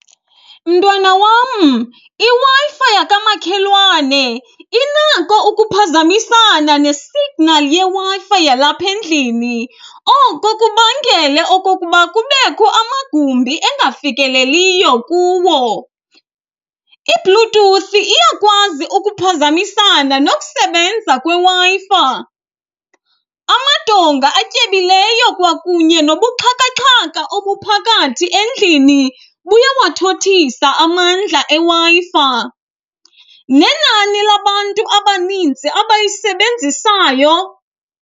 Mntwana wam, iWi-Fi yakamakhelwane inako ukuphazamisana nesignali yeWi-Fi yalapha endlini, oko kubangele okokuba kubekho amagumbi engafikeleliyo kuwo. IBluetooth iyakwazi ukuphazamisana nokusebenza kweWi-Fi. Amadonga atyebileyo kwakunye nobuxhakaxhaka obuphakathi endlini buyawathothisa amandla eWi-Fi, nenani labantu abanintsi abayisebenzisayo.